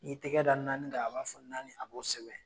N'i y'i tɛgɛ da naani kan a b'a fɔ naani a bɔ sɛbɛn